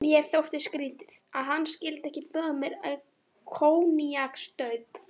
Mér þótti skrýtið, að hann skyldi ekki bjóða mér koníaksstaup.